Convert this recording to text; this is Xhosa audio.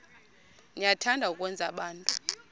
niyathanda ukwenza abantu